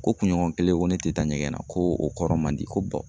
Ko kunɲɔgɔn kelen ko ne tɛ taa ɲɛgɛn na , ko o kɔrɔ man di ko